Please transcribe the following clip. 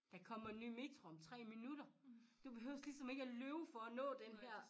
Der kommer en ny metro om 3 minutter du behøves ligesom ikke at løbe for at nå den her